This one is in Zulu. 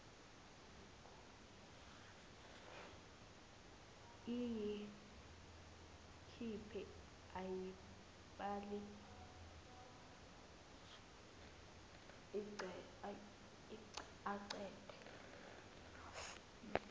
ayikhiphe ayibale aqede